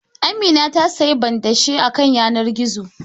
Amina ta siyi banɗashe ta kan yanar gizo